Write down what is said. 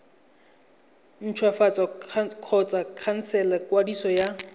ntshwafatsa kgotsa khansela kwadiso ya